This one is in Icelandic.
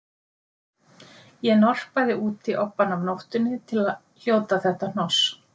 Ég norpaði úti obbann af nóttunni til að hljóta þetta hnoss